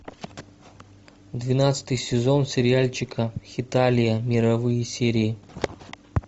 двенадцатый сезон сериальчика хеталия мировые серии